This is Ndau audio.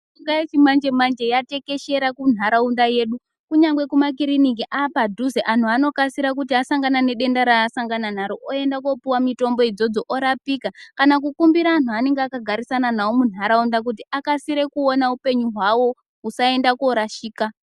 Mishonga yechimanje manje yatekeshera kunharaunda yedu kunyangwe kuma kiriniki apadhuze anhu anokasira kuti asangana nedenda raasangana naro oenda kopuwa mutombo idzodzo orapika kana kukumbira anhu aanenge akagara nawo munharaunda kuti aone upenyu hwavo usaenda korashika.